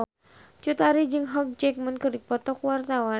Cut Tari jeung Hugh Jackman keur dipoto ku wartawan